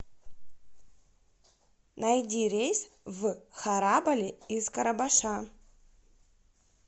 найди рейс в харабали из карабаша